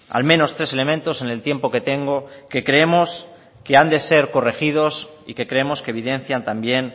al menos tres elementos en el tiempo que tengo que creemos que han de ser corregidos y que creemos que evidencian también